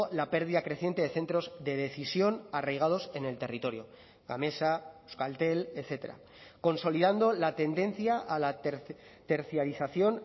la pérdida creciente de centros de decisión arraigados en el territorio gamesa euskaltel etcétera consolidando la tendencia a la tercialización